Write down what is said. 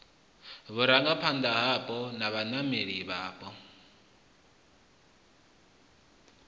vhurangaphanda hapo na vhaimeleli vhapo